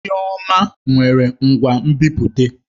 Chioma nwere ngwa nbipute.